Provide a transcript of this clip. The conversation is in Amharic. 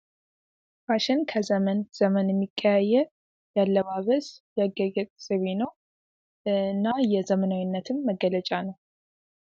ፋሽን ከዘመን ዘመን የሚቀያየር የአለባበስ የአጊያጊየጥ ዘይቤ ነው። እና የዘመናዊይነትም መገለጫ ነው።